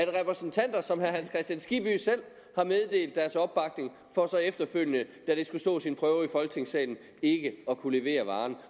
repræsentanter som herre hans kristian skibby selv har meddelt deres opbakning for så efterfølgende da det skulle stå sin prøve i folketingssalen ikke at kunne levere varen